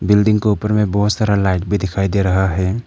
Building के ऊपर में बहुत सारा लाइट भी दिखाई दे रहा है।